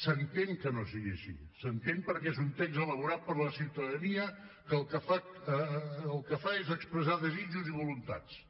s’entén que no sigui així s’entén perquè és un text elaborat per la ciutadania que el que fa és expressar desitjos i voluntats